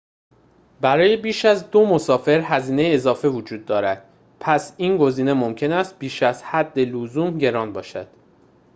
برای بیشتر از ۲ مسافر هزینه اضافه وجود دارد پس این گزینه ممکن است بیش از حد لزوم گران باشد